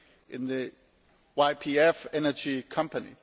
in the YPF energy company.